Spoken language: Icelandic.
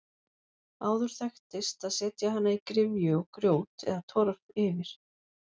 Áður þekktist að setja hana í gryfju og grjót eða torf yfir.